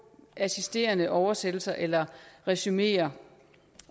eksisterende oversættelser eller resumeer